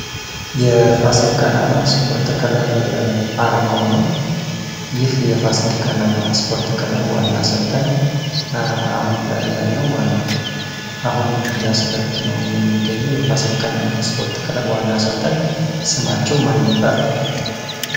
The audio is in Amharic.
የፋሲል ከነማ ስፖርት ክለብ አርማው ነው ። ይህ የፋሲል ከነማ ስፖርት ክለብ ዋና አሰልጣኝ አሁን ላይ ያለው ማን ነው? አሁን እያሰለጠነው የሚገኘው የፋሲል ከነማን ስፖርት ክለብ ዋና አሰልጣኝ ስማቸው ማን ይባላል?